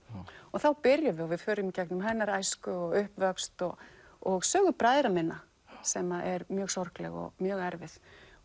þá byrjum við og við förum í gegnum hennar æsku og uppvöxt og og sögu bræðra minna sem er mjög sorgleg og mjög erfið